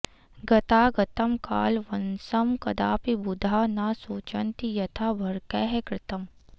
गतागतं कालवशं कदापि बुधा न शोचन्ति यथार्भकैः कृतम्